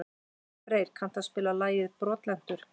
Freyr, kanntu að spila lagið „Brotlentur“?